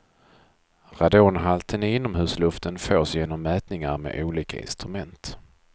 Radonhalten i inomhusluften fås genom mätningar med olika instrument.